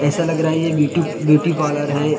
ऐसा लग रहा है ये ब्यूटी ब्यूटी पार्लर है ।